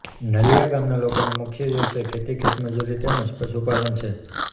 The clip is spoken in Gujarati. નલીયા ગામના લોકોનો મુખ્ય વ્યવસાય ખેતી ખેતમજૂરી તેમ જ પશુપાલન છે